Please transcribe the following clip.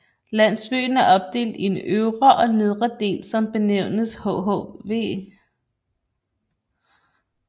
Landsbyen er opdelt i en øvre og nedre del som benævnes hhv